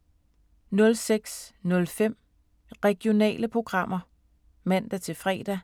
06:05: Regionale programmer (man-fre)